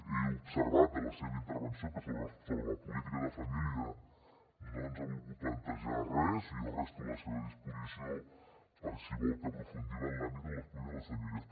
he observat de la seva intervenció que sobre la política de família no ens ha volgut plantejar res i jo resto a la seva disposició per si vol que aprofundim en l’àmbit de les polítiques de les famílies